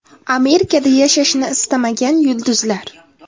Amerikada yashashni istamagan yulduzlar.